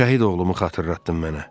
"Şəhid oğlumu xatırlatdın mənə."